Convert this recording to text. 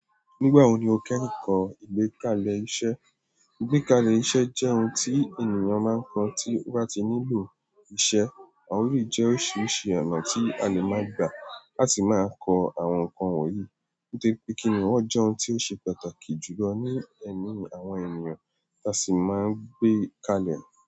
Nígbà wo ni o kẹ́hin kọ ìgbékalẹ̀ iṣẹ́? Ìgbékalẹ̀ iṣẹ́ jẹ́ ohun tí ènìyàn máa ń kọ tí ó bá ti nílò ìṣe. Àwọn òri jẹ́ oríṣiríṣi ọ̀nà tí a lè máa gbà láti máa kọ àwọn nǹkan wọ̀nyí. Nítorí pé kíni wọ́n jẹ́ ohun tí ó ṣe pàtàkì jù lọ ní ẹ̀mí àwọn ènìyàn, tá sì máa ń gbé kalẹ̀.